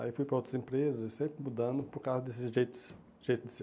Aí fui para outras empresas e sempre mudando por causa desse jeito de ser